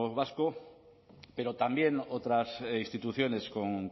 vasco pero también otras instituciones con